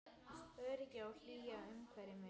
Öryggi og hlýja umvefja mig.